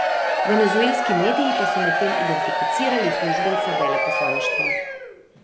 Venezuelski mediji pa so medtem identificirali uslužbenca veleposlaništva.